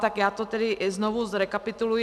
Tak já to tedy znovu zrekapituluji.